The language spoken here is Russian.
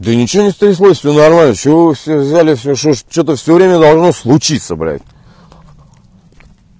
да ничего не стряслось все нормально с чего вы все взяли все что что-то все время должно случиться блядиь